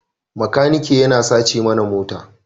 Makaniki ya sace mana mota